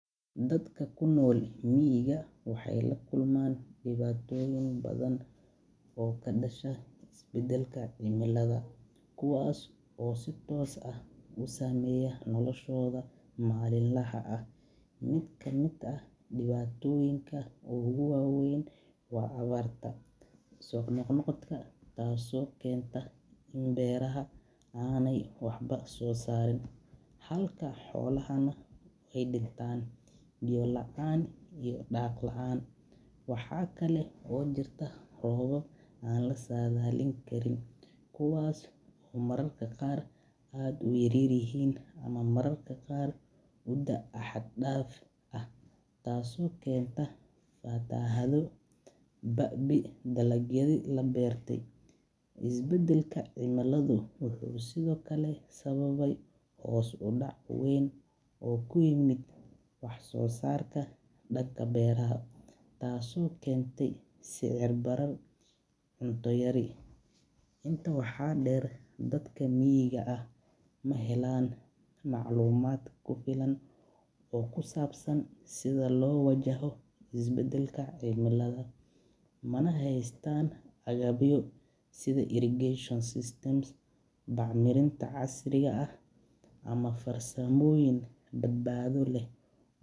Dadka ku nool miiga waxeey la kulmaan dibatoyin badan oo sameeya nolosha malin laha, taas oo keenta in beeraha aay waxba soo saarin, waxaa kale oo jirta roobab yaryar, taas oo keenta babii dakagyada la beerte, wuxuu sababe hoos udac weyn, wax soo saarka danka beeraha, intaa waxaadm deer maclumaad weyn, mana haystaan ganmbyo weyn, badbaado leh.